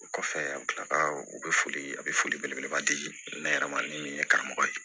O kɔfɛ an bɛ tila ka u bɛ foli a bɛ foli belebeleba di ne yɛrɛ ma ni karamɔgɔ ye